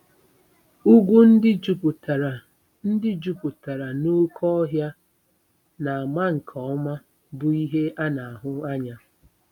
Ugwu ndị jupụtara ndị jupụtara n'oké ọhịa na-ama nke ọma bụ ihe a na-ahụ anya.